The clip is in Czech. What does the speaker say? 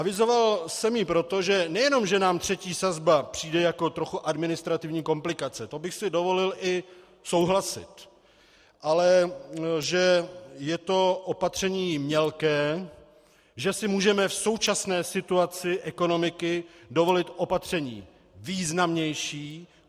Avizoval jsem ji proto, že nejenom že nám třetí sazba přijde jako trochu administrativní komplikace, to bych si dovolil i souhlasit, ale že je to opatření mělké, že si můžeme v současné situaci ekonomiky dovolit opatření významnější.